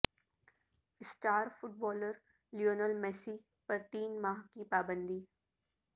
star footballer Lionel Messi پر تین ماہ کی پابندی